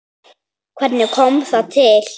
Hvernig kom það til?